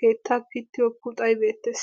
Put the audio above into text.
keettay pittiyo puxxay beettees.